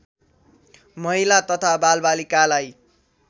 महिला तथा बालबालिकालाई